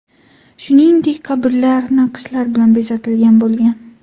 Shuningdek, qabrlar naqshlar bilan bezatilgan bo‘lgan.